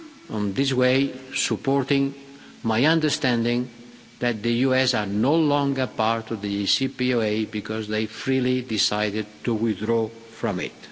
place. In this way supporting my understanding that the US are no longer part of the JCPOA because they freely decided to withdraw from